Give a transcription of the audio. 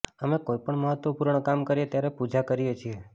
અમે કોઈ પણ મહત્ત્વપૂર્ણ કામ કરીએ ત્યારે પૂજા કરીએ છીએ